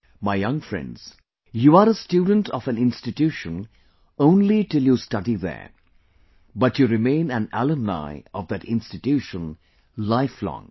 My young friends, you are a student of an institution only till you study there, but you remain an alumni of that institution lifelong